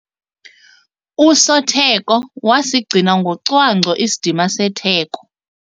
Usotheko wasigcina ngocwangco isidima setheko.